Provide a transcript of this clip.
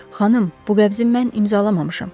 Xanım, bu qəbzi mən imzalamamışam.